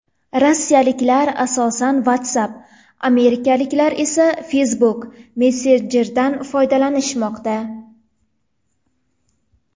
Rossiyaliklar asosan WhatsApp, amerikaliklar esa Facebook Messenger’dan foydalanmoqda.